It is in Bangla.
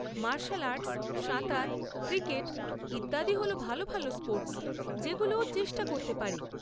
মার্শাল আর্টস, সাঁতার, ক্রিকেট ইত্যাদি হল ভালো ভালো স্পোর্টস যেগুলো ও চেষ্টা করতে পারে।